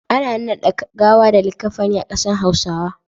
Ana nannade gawa da likaffani a kasan hausawa.